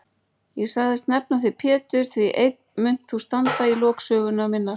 Ég sagðist nefna þig Pétur því einn munt þú standa í lok sögu minnar.